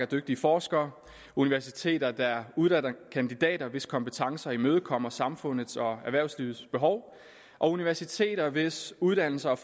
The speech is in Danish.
dygtige forskere universiteter der uddanner kandidater hvis kompetencer imødekommer samfundets og erhvervslivets behov og universiteter hvis uddannelser og